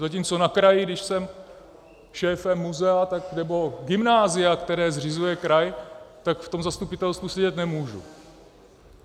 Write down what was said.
Zatímco na kraji, když jsem šéfem muzea, nebo gymnázia, které zřizuje kraj, tak v tom zastupitelstvu sedět nemůžu.